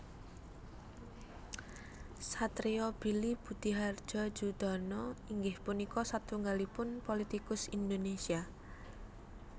Satrio Billy Budihardjo Joedono inggih punika satunggalipun politikus Indonésia